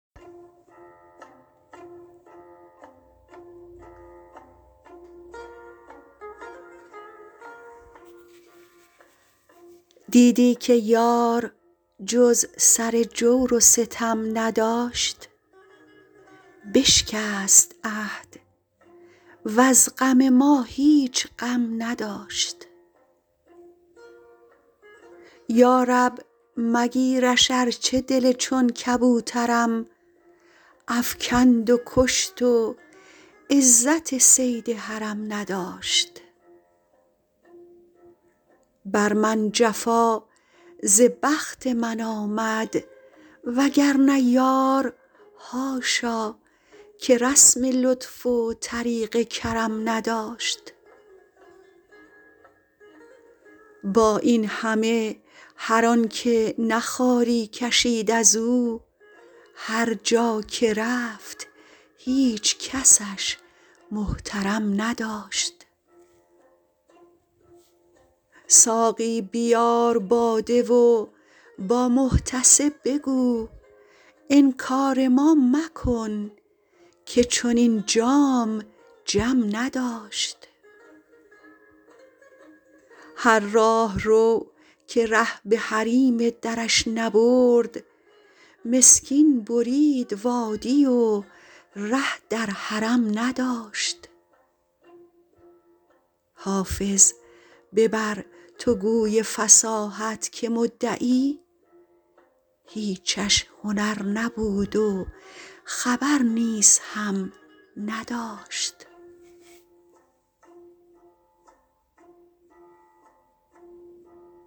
دیدی که یار جز سر جور و ستم نداشت بشکست عهد وز غم ما هیچ غم نداشت یا رب مگیرش ارچه دل چون کبوترم افکند و کشت و عزت صید حرم نداشت بر من جفا ز بخت من آمد وگرنه یار حاشا که رسم لطف و طریق کرم نداشت با این همه هر آن که نه خواری کشید از او هر جا که رفت هیچ کسش محترم نداشت ساقی بیار باده و با محتسب بگو انکار ما مکن که چنین جام جم نداشت هر راهرو که ره به حریم درش نبرد مسکین برید وادی و ره در حرم نداشت حافظ ببر تو گوی فصاحت که مدعی هیچش هنر نبود و خبر نیز هم نداشت